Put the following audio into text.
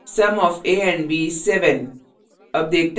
sum of a and b is 7